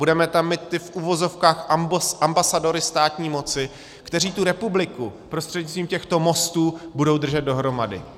Budeme tam mít ty, v uvozovkách, ambasadory státní moci, kteří tu republiku prostřednictvím těchto mostů budou držet dohromady.